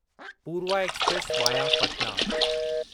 Purva express via Patna